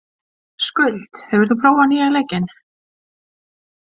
Skuld, hefur þú prófað nýja leikinn?